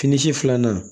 Fini si filanan